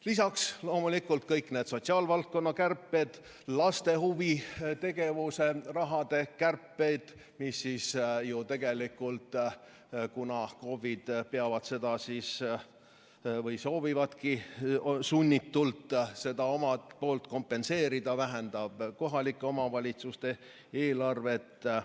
Lisaks loomulikult kõik need sotsiaalvaldkonna kärped, laste huvitegevuse raha kärped, mis ju tegelikult, kuna KOV-id peavad seda kompenseerima või soovivadki sunnitult seda kompenseerida, vähendab kohalike omavalitsuste eelarvet.